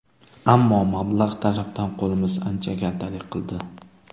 Ammo... mablag‘ tarafdan qo‘limiz ancha kaltalik qildi.